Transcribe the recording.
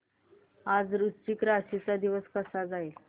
आज वृश्चिक राशी चा दिवस कसा जाईल